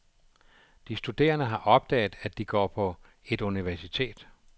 De studerende har opdaget, at de går på etuniversitet.